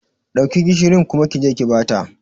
Dauki gishirin kuma kije ki bata.